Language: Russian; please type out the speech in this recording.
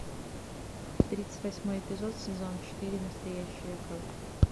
тридцать восьмой эпизод сезон четыре настоящая кровь